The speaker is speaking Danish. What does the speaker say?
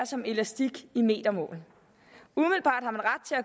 som elastik i metermål umiddelbart